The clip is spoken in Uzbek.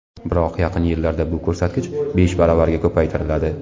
Biroq yaqin yillarda bu ko‘rsatkich besh baravarga ko‘paytiriladi.